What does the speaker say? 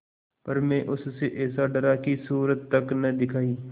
पर मैं उससे ऐसा डरा कि सूरत तक न दिखायी